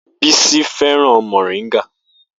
Bisi fẹ́ràn moringa